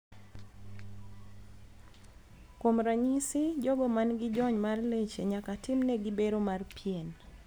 Kuom ranyisi jogo man gi jony mar leche nyaka tim ne gi bero mar pien .